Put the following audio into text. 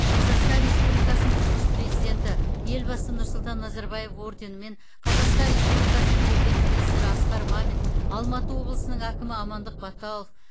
қазақстан республикасының тұңғыш президенті елбасы нұрсұлтан назарбаев орденімен қазақстан республикасының премьер министрі асқар мамин алматы облысының әкімі амандық баталов